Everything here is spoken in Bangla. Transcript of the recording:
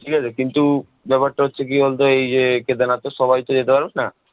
ঠিক আছে, কিন্তু ব্যাপারটা হচ্ছে গিয়ে কি বলতো এই যে কেদারনাথতো সবাই তো যেতে পারবে না